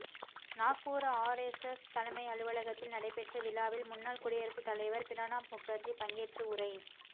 Nagpur RSS தலைமை அலுவலகத்தில் நடைபெற்ற விழாவில் முன்னாள் குடியரசு தலைவர் பிரணாப் முகர்ஜி பங்கேற்று உரை